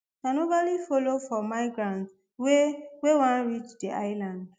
and oualy follow for migrants wey wey wan reach di island